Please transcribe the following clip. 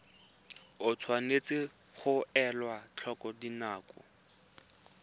tshwanetse ga elwa tlhoko dinako